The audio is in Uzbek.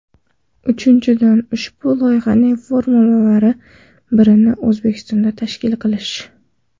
Uchinchidan, ushbu loyihaning forumlaridan birini O‘zbekistonda tashkil qilish.